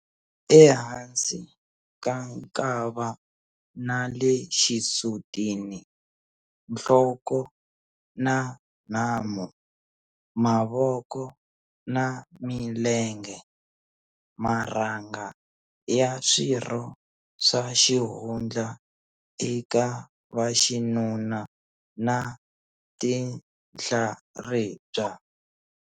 Ehansi ka nkava na le xisutini, nhloko na nhamu, mavoko na milenge, marhanga ya swirho swa xihundla eka vaxinuna na tinhlaribya.